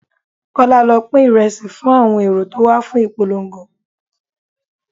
Kọ́lá, lọ pín Ìrẹsì fún àwọn èrò tó wà fún ìpolongo.